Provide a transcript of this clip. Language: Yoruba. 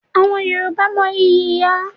Àwọn Yorùbá mo ìyí ìyá.